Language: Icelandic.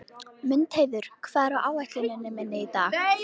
Mundheiður, hvað er á áætluninni minni í dag?